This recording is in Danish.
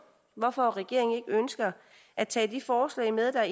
hvorfor regeringen ikke ønsker at tage de forslag med der